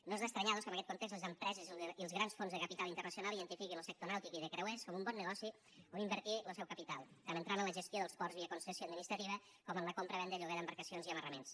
no és d’estranyar doncs que amb aquest context les empreses i els grans fons de capital internacional identifiquin lo sector nàutic i de creuers com un bon negoci on invertir lo seu capital tant entrant en la gestió dels ports via concessió administrativa com en la compravenda i lloguer d’embarcacions i amarraments